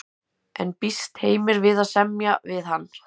En býst Heimir við að semja við hann?